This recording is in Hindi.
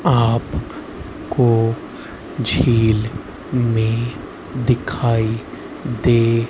आप को झील में दिखाई दे--